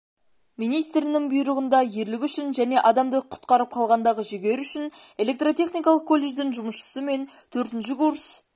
министрінің бұйрығында ерлігі үшін және адамды құтқарып қалғандағы жігері үшін электротехникалық колледждін жұмысшысы мен төртінші курс